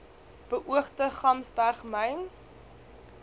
beoogde gamsberg myn